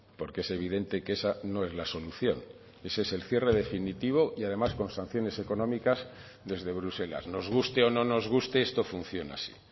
porque es evidente que esa no es la solución ese es el cierre definitivo y además con sanciones económicas desde bruselas nos guste o no nos guste esto funciona así